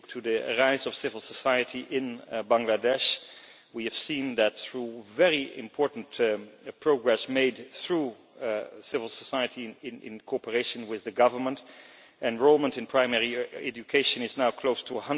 If you look at the rise of civil society in Bangladesh we have seen that, through very important progress made through civil society in cooperation with the government, enrolment in primary education is now close to